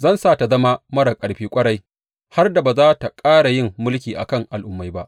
Zan sa tă zama marar ƙarfi ƙwarai, har da ba za tă ƙara yin mulkin a kan al’ummai ba.